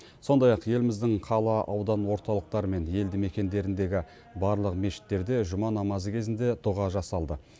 сондай ақ еліміздің қала аудан орталықтары мен елді мекендеріндегі барлық мешіттерде жұма намазы кезінде дұға жасалды